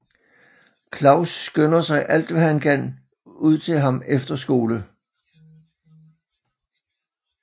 Claus skynder sig alt hvad han kan ud til ham efter skole